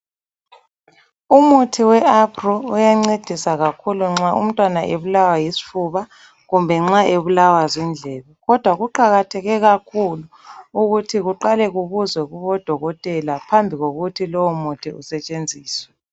Umuthi we Aprew uyancedisa kakhulu nxa umntwana ebulawa yisifuba kumbe nxa ebulawa zindlebe. Kodwa kuqakatheke kakhulu ukuthi kuqale kubuzwe kubodokotela phambi kokuthi lowomuthi usetshenziswe.